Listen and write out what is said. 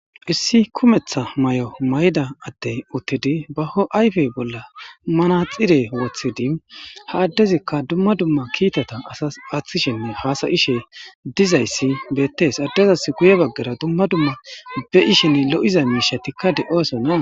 Issi kumetha may'o mayda atte uttidi baho ayfe bolla manaxire wothidi ha addezikka dumma dumma kiitata asas aaththishenne haasayishe dizayssi beettes addezas guye baggara dumma dumma be ishenn lo'iza miishatikka de'oosona.